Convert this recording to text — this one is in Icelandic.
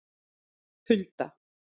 Hulda